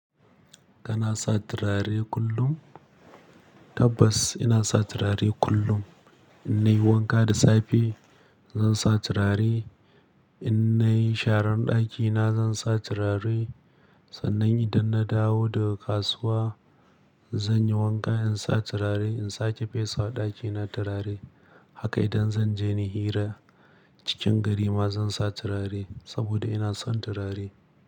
Kana sa turare kullum? Tabbas ina sa turare kullum. Innai wanka da safe zan sa turare, innai sharan ɗakina zan sa turare, sannan idan na dawo daga kasuwa zan yi wanka in sa turare, in sake fesa wa ɗakina turare. Haka idan zan je ni hira cikin garima zan sa turare saboda ina son turare.